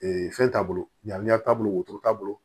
fɛn t'a bolo ɲamiya t'a bolo wotoro t'a bolo